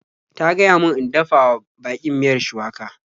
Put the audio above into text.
Ta gaya min in dafa wa baƙin miyar shuwaka.